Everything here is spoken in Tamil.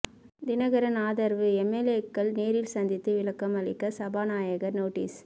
தினகரன் ஆதரவு எம்எல்ஏக்கள் நேரில் சந்தித்து விளக்கம் அளிக்க சபாநாயகர் நோட்டீஸ்